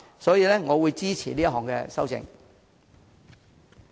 所以，我會支持周議員的修正案。